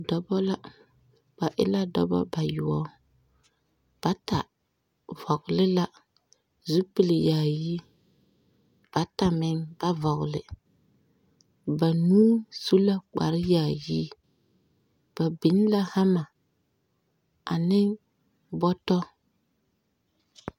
Dɔbɔ la, ba e la dŋbŋ bayoɔb. Bata vɔgle la zupil yaayi, bata meŋ ba vɔgle. Banuu su la kpare yaayi. Ba biŋ la hama ane bɔtɔ.